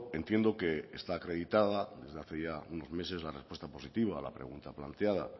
entiendo que está acreditada desde hace ya unos meses la respuesta positiva a la pregunta planteada